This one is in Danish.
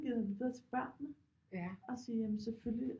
Giver videre til børnene at sige jamen selvfølgelig